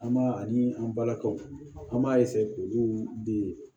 An b'a ani an balakaw an b'a k'olu de